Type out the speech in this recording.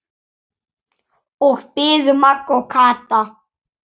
Þar biðu Magga og Kata.